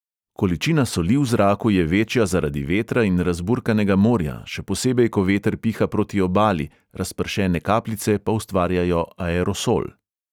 Količina soli v zraku je večja zaradi vetra in razburkanega morja, še posebej ko veter piha proti obali, razpršene kapljice pa ustvarjajo aerosol.